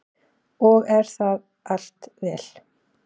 Og er það allt vel.